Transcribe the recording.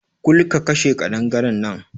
Kul! ka kashe ƙadangaren nan!